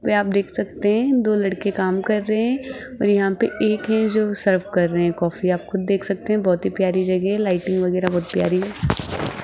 व आप देख सकते हैं दो लड़के काम कर रहे हैं और यहां पे एक हैं जो सर्व कर रहे हैं कॉफी आप खुद देख सकते हैं बहुत ही प्यारी जगह है लाइटिंग वगैरह बहुत प्यारी है।